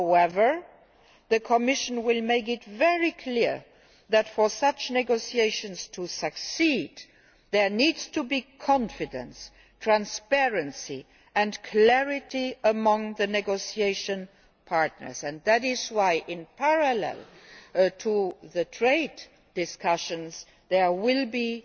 However, the Commission will make it very clear that, for such negotiations to succeed, there needs to be confidence, transparency and clarity among the negotiation partners. That is why, in parallel with the trade discussions, there